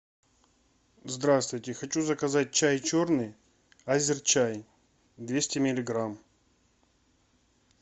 здравствуйте хочу заказать чай черный азер чай двести миллиграмм